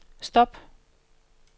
stop